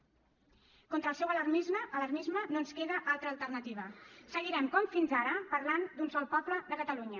contra el seu alarmisme no ens queda altra alternativa seguirem com fins ara parlant d’un sol poble de catalunya